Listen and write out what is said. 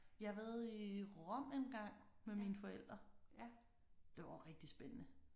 Jeg har været i Rom engang med mine forældre. Det var rigtig spændende